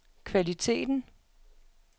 kvaliteten